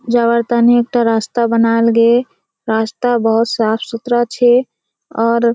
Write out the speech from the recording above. जवार तेने एकटा रास्ता बनाल गेये रास्ता बोहोत साफ-सुथरा छे आर --